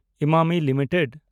Emami limited